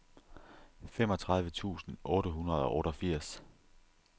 femogtredive tusind otte hundrede og otteogfirs